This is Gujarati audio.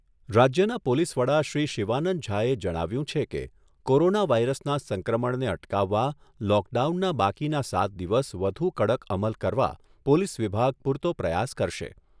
રાજ્યના પોલીસ વડા શ્રી શિવાનંદ ઝાએ જણાવ્યુંં છે કે, કોરોના વાયરસના સંક્રમણને અટકાવવા લોકડાઉનના બાકીના સાત દિવસ વધુ કડક અમલ કરવા પોલીસ વિભાગ પૂરતો પ્રયાસ કરશે.